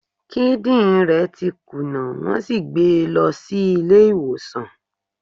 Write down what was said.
Kidin re ti kuna, won si gbe e lo si ile iwosan